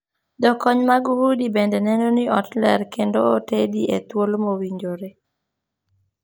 Jokony mag udi bende neno ni ot ler kendo otedi e thuolo mowinjore.